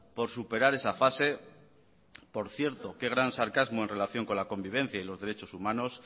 por superar esa fase por cierto qué gran sarcasmo en relación con la convivencia y los derechos humanos